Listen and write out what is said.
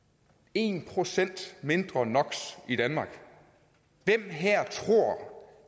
en procent mindre no hvem her tror